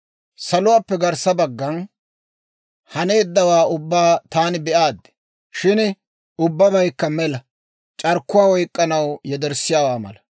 Saluwaappe garssa baggan haneeddawaa ubbaa taani be'aad; shin ubbabaykka mela; c'arkkuwaa oyk'k'anaw yederssiyaawaa mala.